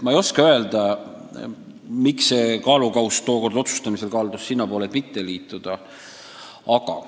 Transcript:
Ma ei oska öelda, miks kaldus kaalukauss tookord selle kasuks, et otsustati mitte liituda.